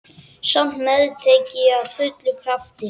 Samt meðtek ég af fullum krafti.